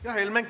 Aitäh!